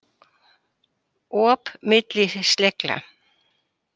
Op milli slegla